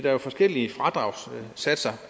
er jo forskellige fradragssatser